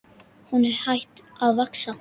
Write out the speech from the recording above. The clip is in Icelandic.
Hún er hætt að vaxa!